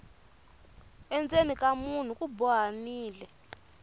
endzeni ka munhu ku bohanile